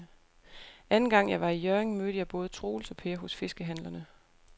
Anden gang jeg var i Hjørring, mødte jeg både Troels og Per hos fiskehandlerne.